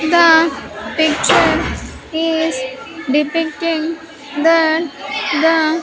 The picture is depicting that the--